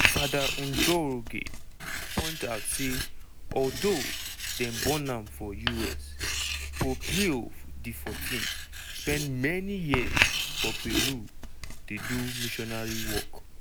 fr njoroge point out say although dem born am for us pope leo xiv spend many years for peru dey do missionary work.